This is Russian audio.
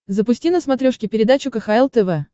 запусти на смотрешке передачу кхл тв